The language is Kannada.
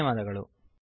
ಧನ್ಯವಾದಗಳು